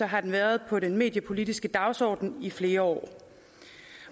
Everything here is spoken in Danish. har den været på den mediepolitiske dagsorden i flere år